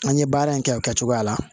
An ye baara in kɛ o kɛcogoya la